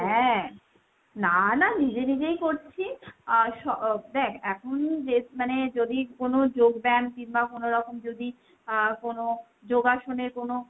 হ্যাঁ, না না নিজে নিজেই করছি। আহ দ্যাখ এখন মানে যদি কোনো যোগব্যায়াম কিমবা কোনোরকম যদি আহ কোনো যোগাসনে কোনো,